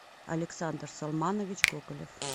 александр салманович коколев